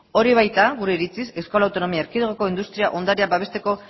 hori baita gure iritziz euskal autonomia erkidegoko industria ondarea babesteko